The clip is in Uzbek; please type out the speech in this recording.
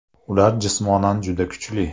Ular jismonan juda kuchli.